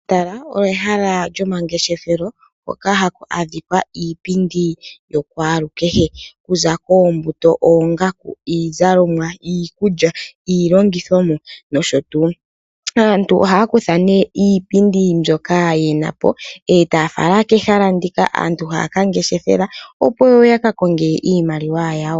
Omatala olyo ehala lyomangefeshelo hoka haku adhika iipindi yokwaalukehe okuza koombuto, iizalomwa, iikulya, iilongithomwa nosho tuu. Aantu ohaya kutha nee iipindi mbyoka yenapo ee taya fala kehala hoka aantu haya kongeshefela opo yakakonge iimaliwa yawo.